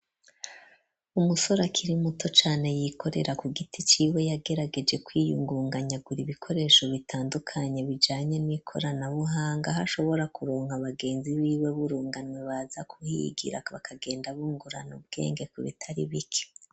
Umusore akiri muto cane, yikorera ku giti ciwe yagerageje kwiyungunganya agura ibikoresho bitandukanye bijanye n'ikoranabuhanga, hashobora kuronka abagenzi b'iwe burunganwe baza kuhigira ,bakagenda bungurana ubwenge ku bitari bike.